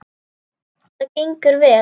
Það gengur vel.